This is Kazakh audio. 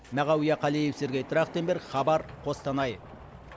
мағауия қалиев сергей трахтенберг хабар қостанай